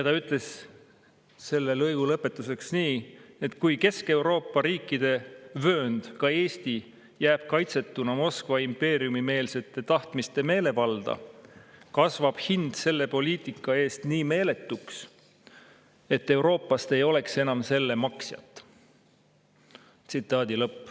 Ta ütles selle lõigu lõpetuseks nii: "Kui aga Kesk-Euroopa riikide vöönd, ka Eesti, jääb kaitsetuna Moskva impeeriumimeelsete tahtmiste meelevalda, kasvab hind selle poliitika eest nii meeletuks, et Euroopast ei oleks enam selle maksjat.